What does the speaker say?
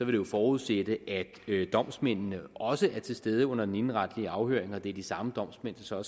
jo forudsætte at domsmændene også skulle være til stede under den indenretlige afhøring og det ville være de samme domsmænd der så